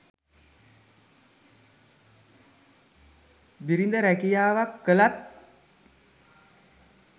බිරිඳ රැකියාවක් කළත්